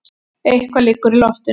Eitthvað liggur í loftinu!